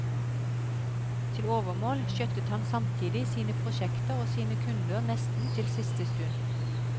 Til overmål skjøttet han samtidig sine prosjekter og sine kunder nesten til siste stund.